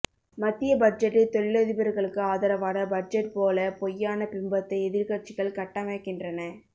மத்திய பட்ஜெட்டை தொழிலதிபர்களுக்கு ஆதரவான பட்ஜெட் போல பொய்யான பிம்பத்தை எதிர்க்கட்சிகள் கட்டமைக்கின்றன